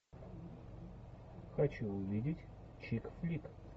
хочу увидеть чик флик